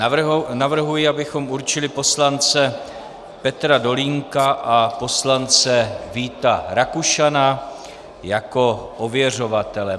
Navrhuji, abychom určili poslance Petra Dolínka a poslance Víta Rakušana jako ověřovatele.